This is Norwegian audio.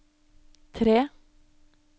tre